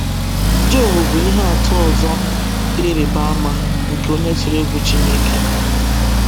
Job bụ ihe atụ ọzọ dị ịrịba ama nke onye tụrụ egwu Chineke.